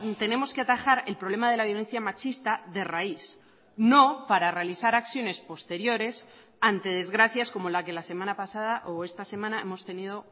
tenemos que atajar el problema de la violencia machista de raíz no para realizar acciones posteriores ante desgracias como la que la semana pasada o esta semana hemos tenido